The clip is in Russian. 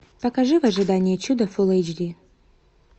покажи в ожидании чуда фулл эйч ди